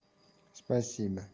спасибо